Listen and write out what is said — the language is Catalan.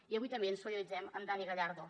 i avui també ens solidaritzem amb dani gallardo